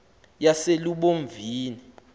yaselubomvini